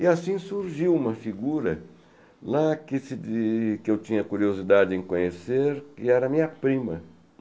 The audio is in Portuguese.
E assim surgiu uma figura lá que se diz que eu tinha curiosidade em conhecer, que era a minha prima.